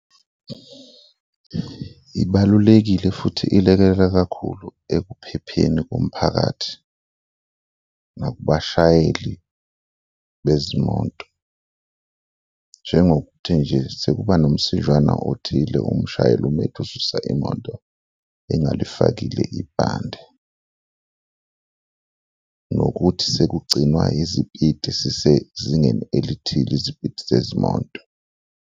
Ibalulekile futhi ilekelela kakhulu ekuphepheni komphakathi nakubashayeli bezimoto, njengokuthi nje sekuba nomsijwana othile umshayeli ume ethi ususa imoto engalifakile ibhande nokuthi sekugcinwa izipiti zisezingeni elithile, izipiti zezimoto.